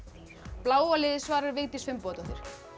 bláa liðið svarar Vigdís Finnbogadóttir